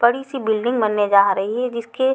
बड़ी सी बिल्डिंग बने जा रही है जिसके--